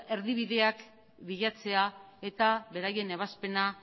erdibideak bilatzea eta beraien ebazpenak